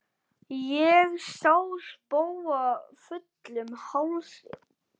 Sá ég spóa fullum hálsi.